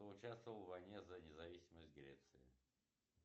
кто участвовал в войне за независимость греции